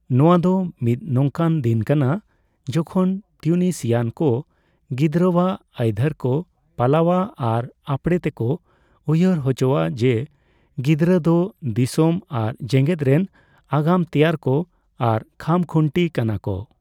ᱱᱚᱣᱟ ᱫᱚ ᱢᱤᱫ ᱱᱚᱝᱠᱟᱱ ᱫᱤᱱ ᱠᱟᱱᱟ ᱡᱮᱠᱷᱚᱱ ᱛᱤᱭᱩᱱᱤᱥᱤᱭᱟᱱ ᱠᱚ ᱜᱤᱫᱽᱨᱟᱹᱣᱟᱜ ᱟᱹᱭᱫᱷᱟᱹᱨ ᱠᱚ ᱯᱟᱞᱟᱣᱼᱟ ᱟᱨ ᱟᱯᱲᱮ ᱛᱮᱠᱚ ᱩᱭᱦᱟᱹᱨ ᱦᱚᱪᱚᱜᱼᱟ ᱡᱮᱹ ᱜᱤᱫᱽᱨᱟᱹ ᱫᱚ ᱫᱤᱥᱚᱢ ᱟᱨ ᱡᱮᱜᱮᱫ ᱨᱮᱱ ᱟᱜᱟᱢ ᱛᱮᱭᱟᱨ ᱠᱚ ᱟᱨ ᱠᱷᱟᱢᱠᱷᱩᱱᱴᱤ ᱠᱟᱱᱟ ᱠᱚ ᱾